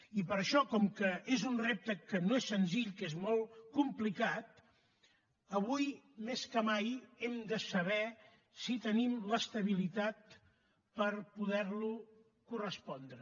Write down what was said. i per això com que és un repte que no és senzill que és molt complicat avui més que mai hem de saber si tenim l’estabilitat per poder lo correspondre